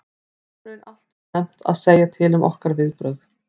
Það er í raun allt og snemmt að segja til um okkar viðbrögð.